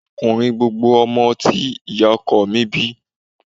Ọkùnrin gbogbo ọmọ tí ìyá ọkọ mi bí